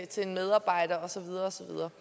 til en medarbejder og så videre og så videre